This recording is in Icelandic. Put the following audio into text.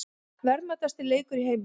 Verðmætasti leikur í heimi